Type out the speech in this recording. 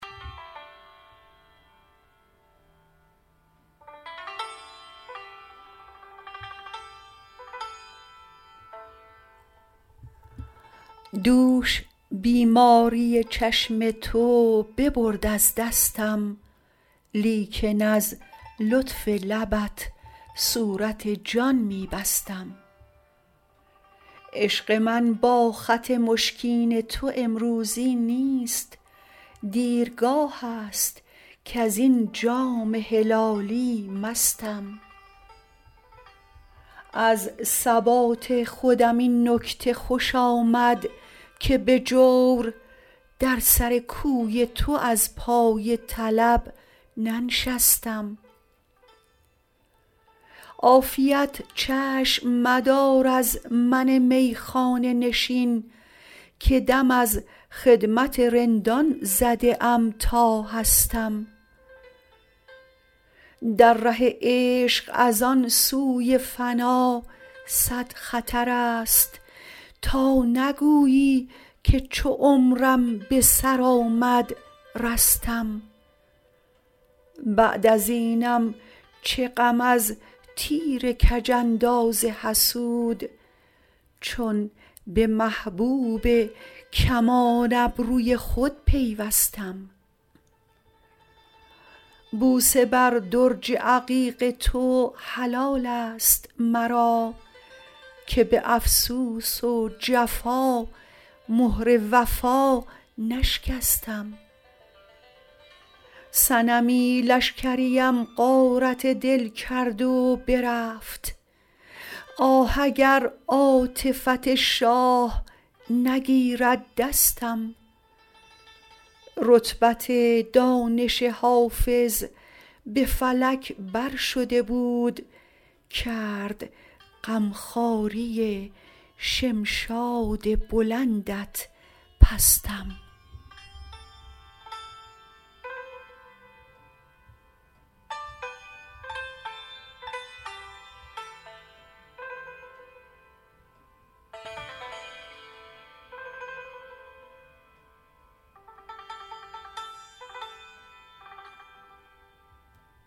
دوش بیماری چشم تو ببرد از دستم لیکن از لطف لبت صورت جان می بستم عشق من با خط مشکین تو امروزی نیست دیرگاه است کز این جام هلالی مستم از ثبات خودم این نکته خوش آمد که به جور در سر کوی تو از پای طلب ننشستم عافیت چشم مدار از من میخانه نشین که دم از خدمت رندان زده ام تا هستم در ره عشق از آن سوی فنا صد خطر است تا نگویی که چو عمرم به سر آمد رستم بعد از اینم چه غم از تیر کج انداز حسود چون به محبوب کمان ابروی خود پیوستم بوسه بر درج عقیق تو حلال است مرا که به افسوس و جفا مهر وفا نشکستم صنمی لشکریم غارت دل کرد و برفت آه اگر عاطفت شاه نگیرد دستم رتبت دانش حافظ به فلک بر شده بود کرد غم خواری شمشاد بلندت پستم